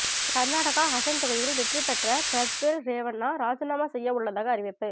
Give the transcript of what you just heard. கர்நாடகா ஹசன் தொகுதியில் வெற்றிபெற்ற பிரஜ்வல் ரேவண்ணா ராஜினாமா செய்ய உள்ளதாக அறிவிப்பு